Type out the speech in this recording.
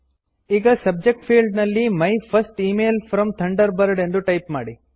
ಈಗ subject field ನಲ್ಲಿ my first email from Thunderbird ಎಂದು ಟೈಪ್ ಮಾಡಿ